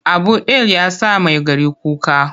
Abu ɗil ya sa Maigari kuka.